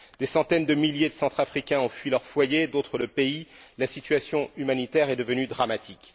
Des centaines de milliers de Centrafricains ont fui leur foyer, d'autres le pays, la situation humanitaire est devenue dramatique.